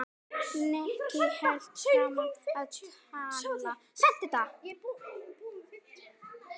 Nikki hélt áfram að tala.